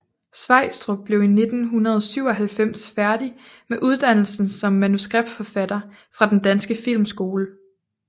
Sveistrup blev i 1997 færdig med uddannelsen som manuskriptforfatter fra Den Danske Filmskole